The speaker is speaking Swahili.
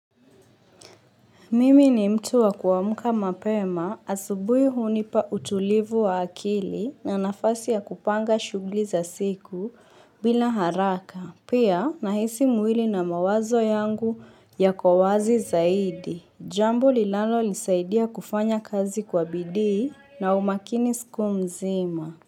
Mimi ni mtu wa kuamka mapema asubuhi hunipa utulivu wa akili na nafasi ya kupanga shughuli za siku bila haraka. Pia nahisi mwili na mawazo yangu yako kwa wazi zaidi. Jamb linlalo lisaidia kufanya kazi kwa bidi na umakini siku mzima.